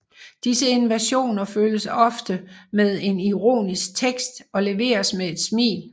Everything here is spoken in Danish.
Disse invasioner følges ofte med en ironisk tekst og leveres med et smil